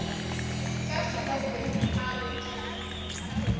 ka selepe a re ke